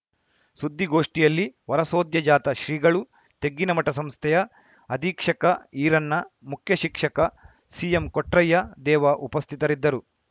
ಸುದ್ದಿಗೋಷ್ಠಿಯಲ್ಲಿ ವರಸದ್ಯೋಜಾತ ಶ್ರೀಗಳು ತೆಗ್ಗಿನಮಠ ಸಂಸ್ಥೆಯ ಅಧೀಕ್ಷಕ ಈರಣ್ಣ ಮುಖ್ಯಶಿಕ್ಷಕ ಸಿಎಂ ಕೊಟ್ರಯ್ಯ ದೇವ ಉಪಸ್ಥಿತರಿದ್ದರು